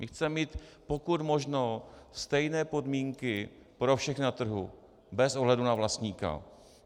My chceme mít pokud možno stejné podmínky pro všechny na trhu bez ohledu na vlastníka.